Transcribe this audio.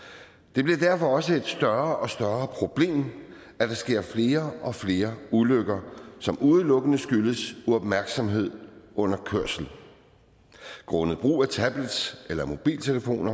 det bliver derfor også et større og større problem at der sker flere og flere ulykker som udelukkende skyldes uopmærksomhed under kørsel grundet brug af og tablet eller mobiltelefon